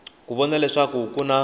ku vona leswaku ku na